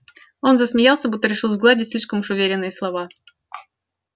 он засмеялся будто решил сгладить слишком уж уверенные слова